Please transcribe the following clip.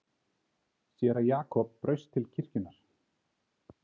Séra Jakob braust til kirkjunnar.